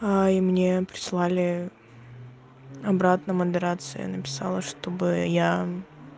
и мне прислали обратно модерация написала чтобы я